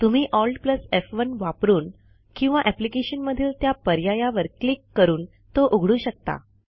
तुम्ही AltF1 वापरून किंवा अप्लिकेशन मधील त्या पर्यायावर क्लिक करून तो उघडू शकता